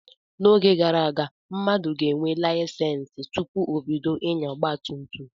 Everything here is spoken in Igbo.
N'oge gara aga, mmadụ ga-enwe layisensi tụpụ ọ bido inya ọgba tum tum.